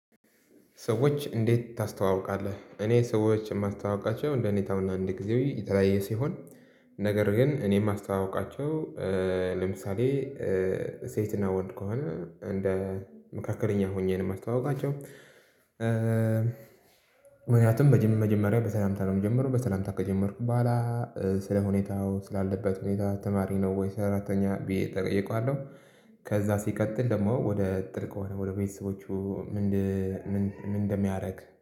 ሰዎች እንዴት ታስተዋውቃለህ እኔ ሰዎችን የማስተዋውቃቸው እንደ ሁኔታውና ቦታው የተለያየ ሲሆን ነገር ግን እኔ የማስተዋውቃቸው ለምሳሌ ሴትና ወንድ ከሆነ እንደ መካከለኛ ሆኜ ነው። የማስተዋውቃቸው ምክንያቱም በመጀመሪያ በሰላምታ ነው የምጀምረው በሰላምታ ከጀመርኩ በኋላ ስለ ሁኔታው ስላለበት ሁኔታ ተማሪ ነው ወይስ ሰራተኛ ብዬ እጠይቀዋለሁ። ከዚያ ሲቀጥል ደግሞ ወደ እንትን ከሆነ ደግሞ ወደ ቤተሰቦቹ። ምን እንደሚያደርግ